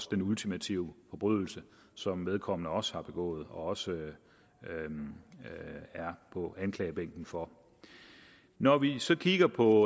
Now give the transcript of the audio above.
den ultimative forbrydelse som vedkommende også har begået og også er på anklagebænken for når vi så kigger på